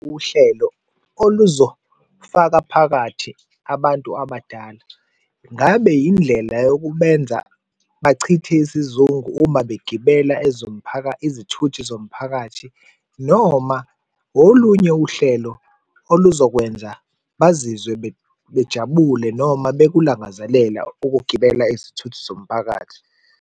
Uhlelo oluzofaka phakathi abantu abadala, ngabe yindlela yokubenza bachithe isizungu uma begibela izithuthi zomphakathi noma olunye uhlelo oluzokwenza bazizwe bejabule noma bekulangazelela ukugibela izithuthi zomphakathi.